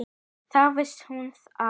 Þá vissi hún að